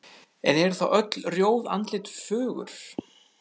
En eru þá öll rjóð andlit fögur?